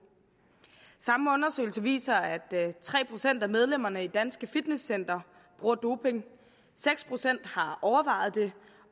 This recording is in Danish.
samme undersøgelse viser at tre procent af medlemmerne i danske fitnesscentre bruger doping at seks procent har overvejet det